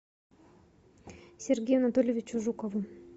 сергею анатольевичу жукову